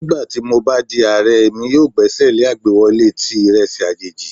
Nigbati mo ba di Aare, Emi yoo gbesele agbewọle ti iresi ajeji